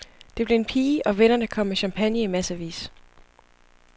Det blev en pige, og vennerne kom med champagne i massevis.